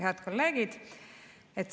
Head kolleegid!